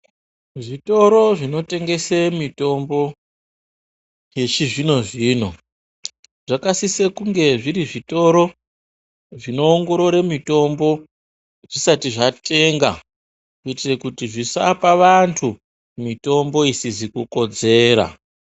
Zvitoro zvinotengese mitombo yechizvino-zvino zvakasise kunge zviri zvitoro zvinoongorore mitombo zvisati zvatenga kuitire kuti zvisapa vantu mitombo isizi kukodzera.